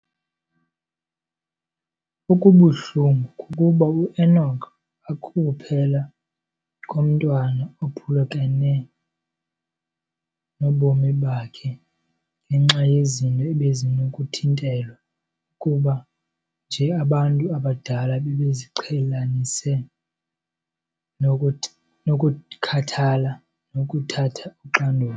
Okubuhlungu kukuba u-Enock akukuphela komntwana ophulukene nobomi bakhe ngenxa yezinto ebezinokuthintelwa, ukuba nje abantu abadala bebeziqhelanise nokukhathala nokuthatha uxanduva.